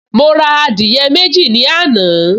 Mo ra adìyẹ méjì ní àná